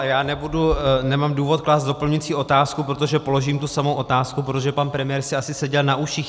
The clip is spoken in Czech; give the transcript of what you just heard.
Ale já nemám důvod klást doplňující otázku, protože položím tu samou otázku, protože pan premiér si asi seděl na uších.